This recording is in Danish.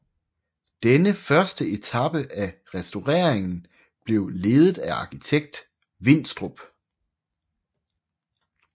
Denne første etape af restaureringen blev ledet af arkitekt Winstrup